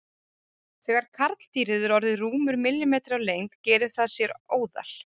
Þegar karldýrið er orðið rúmur millimetri á lengd gerir það sér óðal.